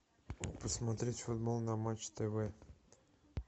посмотреть футбол на матч тв